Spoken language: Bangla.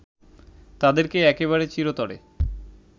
তাঁদেরকে একেবারে চিরতরে